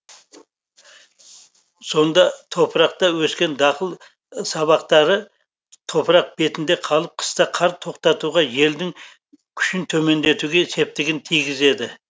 сонда топырақта өскен дақыл сабақтары топырақ бетінде қалып қыста қар тоқтатуға желдің күшін төмендетуге септігін тигізеді